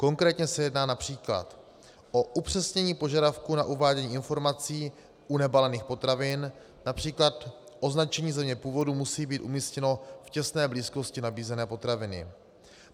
Konkrétně se jedná například o upřesnění požadavků na uvádění informací u nebalených potravin, například označení země původu musí být umístěno v těsné blízkosti nabízené potraviny.